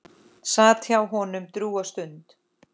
Sat hjá honum drjúga stund.